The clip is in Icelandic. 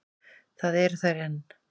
Það eru þær enn.